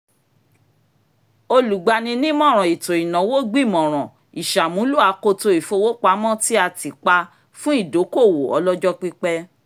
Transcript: olùgbani-nímọ̀ràn ètò ìnáwó gbìmọ̀rán ìṣàmúlò akoto ìfowópamọ́ tí a tì pa fún ìdókoòwò ọlọ́jọ́ pípẹ́